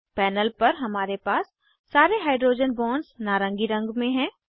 panel पर हमारे पास सारे हाइड्रोजन बॉन्ड्स नारंगी रंग में हैं